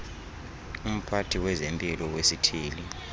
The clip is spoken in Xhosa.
umphathi wezempilo wesithili